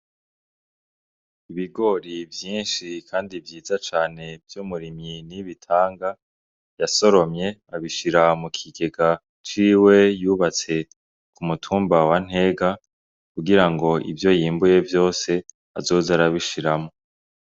Ibigori vyinshi kandi vyiza cane vy'umurimyi Niyibitanga yasoromye abishira mu kigega ciwe yubatse ku mutumba wa Ntega kugira ngo ivyo yimbuye vyose azoze arabishiramwo.